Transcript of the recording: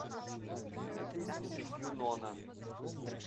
юнона